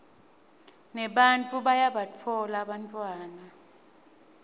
nebantfu bayabatfola bantfwana